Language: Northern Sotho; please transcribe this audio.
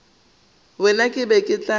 wena ke be ke tla